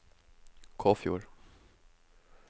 Kåfjord